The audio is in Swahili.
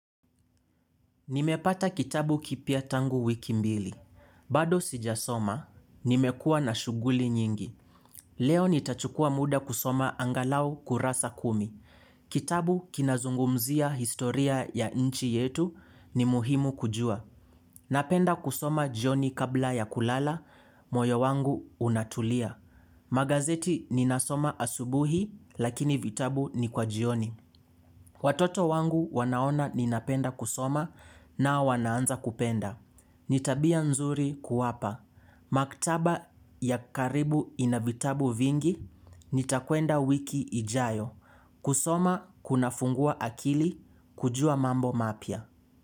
Nimepata kitabu kipya tangu wiki mbili. Bado sijasoma, nimekua na shughuli nyingi. Leo nitachukua muda kusoma angalau kurasa kumi. Kitabu kinazungumzia historia ya inchi yetu ni muhimu kujua. Napenda kusoma jioni kabla ya kulala, moyo wangu unatulia. Magazeti ninasoma asubuhi, lakini vitabu ni kwa jioni. Watoto wangu wanaona ninapenda kusoma na wanaanza kupenda. Nitabia nzuri kuwapa. Maktaba ya karibu inavitabu vingi, nitakuenda wiki ijayo. Kusoma kuna fungua akili, kujua mambo mapya.